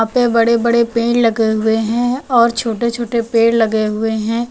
ये बड़े बड़े पेड़ लगे हुए हैं और छोटे छोटे पेड़ लगे हुए हैं।